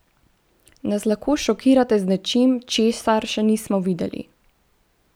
Nas lahko šokirate z nečim, česar še nismo videli?